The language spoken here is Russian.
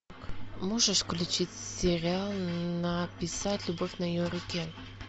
можешь включить сериал написать любовь на ее руке